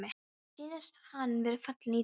Mér sýnist hann vera fallinn í trans.